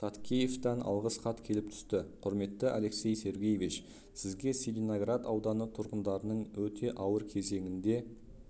таткеевтан алғыс хат келіп түсті құрметті алексей сергеевич сізге целиноград ауданы тұрғындарының өте ауыр кезеңінде